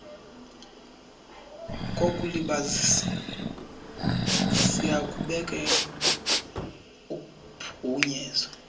kokulibazisa siyakubeka uphunyezo